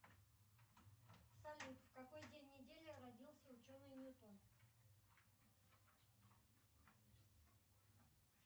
салют в какой день недели родился ученый ньютон